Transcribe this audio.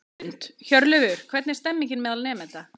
Hrund: Hjörleifur, hvernig er stemningin meðal nemenda?